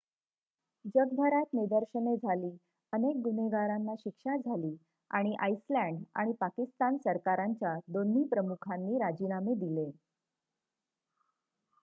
जगभरात निदर्शने झाली अनेक गुन्हेगारांना शिक्षा झाली आणि आईसलँड आणि पाकिस्तान सरकारांच्या दोन्ही प्रमुखांनी राजीनामे दिले